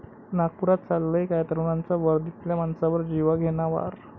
नागपुरात चाललंय काय? तरुणांचा वर्दीतल्या माणसावर जीवघेणा वार